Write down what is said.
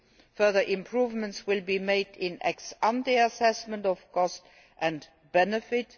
Further improvements will be made in ex ante assessment of cost and benefit.